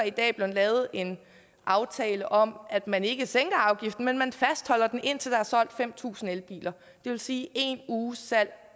i dag blevet lavet en aftale om at man ikke sænker afgiften men at man fastholder den indtil der er solgt fem tusind elbiler det vil sige en uges salg